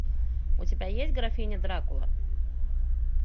у тебя есть графиня дракула